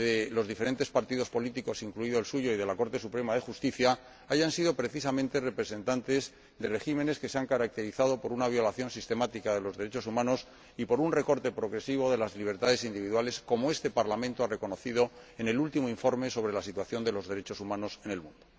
los diferentes partidos políticos, incluido el suyo, y de la Corte Suprema de Justicia en contra del Congreso de la República— hayan sido, precisamente, representantes de regímenes que se han caracterizado por una violación sistemática de los derechos humanos y por un recorte progresivo de las libertades individuales, como este Parlamento ha reconocido en el último informe sobre la situación de los derechos humanos en el mundo.